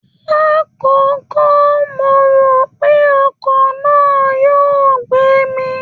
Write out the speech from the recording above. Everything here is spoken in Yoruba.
Lákọ̀ọ́kọ́ mo rò pé ọkọ̀ náà yóò gbé mi